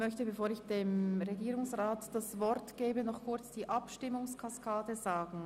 Bevor ich Herrn Regierungsrat Käser das Wort gebe, möchte ich noch die Abstimmungskaskade darstellen.